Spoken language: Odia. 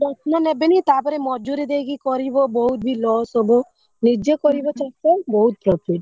ଯତ୍ନ ନେବେନି ତାପରେ ମଜୁରି ଦେଇକି କରିବ ବହୁତ ବି ଲସ ହବ ନିଜେ କରିବ ଚାଷ ବହୁତ profit ।